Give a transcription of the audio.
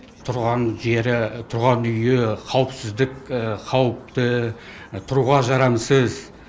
тұрған жері тұрған үйі қауіпсіздік қауіпті тұруға жарамсыз